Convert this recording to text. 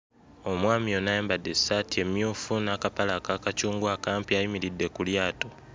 Omwami ono ayambadde essaati emmyufu n'akapale aka kacungwa akampi ayimiridde ku lyato.